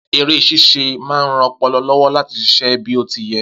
eré ṣíṣe ma ń ran ọpọlọ lówó láti ṣiṣẹ́ bí o ti yẹ